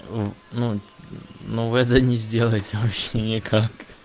в ну ну вы это не сделаете вообще никак